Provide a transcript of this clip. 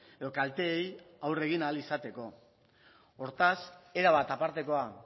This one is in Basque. edo kalteei aurre egin ahal izateko hortaz erabat apartekoa